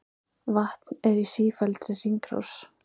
Vatn er í sífelldri hringrás.